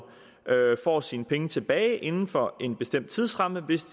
får sine penge tilbage inden for en bestemt tidsramme hvis